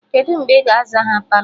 Kedụ mgbe ị ga-aza ha Palọ?